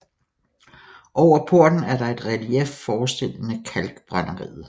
Over porten er der et relief forestillende kalkbrænderiet